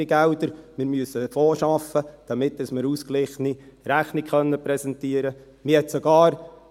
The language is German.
Wir müssen einen Fonds schaffen, damit wir eine ausgeglichene Rechnung präsentieren können.